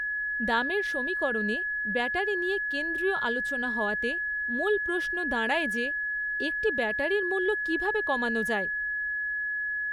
দামের সমীকরণে ব্যাটারি নিয়ে কেন্দ্রীয় আলোচনা হওয়াতে মূল প্রশ্ন দাঁড়ায় যে, একটি ব্যাটারির মূল্য কীভাবে কমানো যায়?